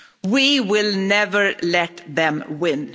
We will never let them win.